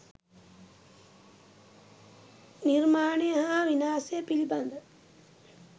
නිර්මාණය හා විනාශය පිළිබඳ